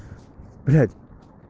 блять